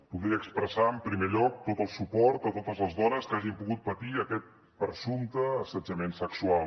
voldria expressar en primer lloc tot el suport a totes les dones que hagin pogut patir aquest presumpte assetjament sexual